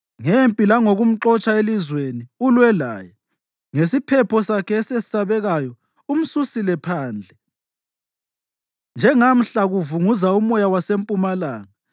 Ngempi langokumxotsha elizweni ulwe laye, ngesiphepho sakhe esesabekayo umsusela phandle, njengamhla kuvunguza umoya wasempumalanga.